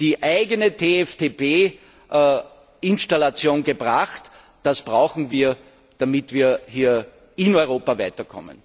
die eigene TFTP Installation gebracht, die wir brauchen, damit wir hier in Europa weiterkommen.